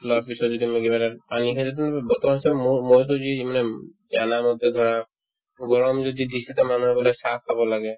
লোৱাৰ পিছত যেতিয়া মই কিবা এটা খাম পানী খালেতো bottle চটল ন'লও মইতো যি যি মানে চানা মটৰ ধৰা গৰম যদি দিছে তে মানুহক বোলে চাহ খাব লাগে